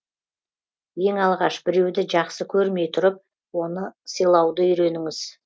ең алғаш біреуді жақсы көрмей тұрып оны сыйлауды үйреніңіз